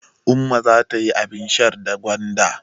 Umma za ta yi abin shan da gwanda.